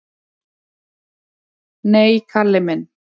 """Nei, Kalli minn."""